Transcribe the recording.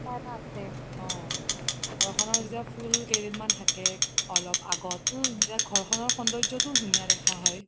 ঘৰখনৰ যেতিয়া ফুল কেইদিন মান থাকে অলপ আগত তেতিয়া ঘৰখনৰ সৌন্দৰ্যটোও ধুনীয়া দেখা হয়